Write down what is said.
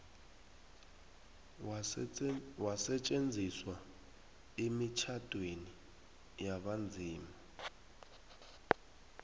wasetjenziswa emitjhadweni yabanzima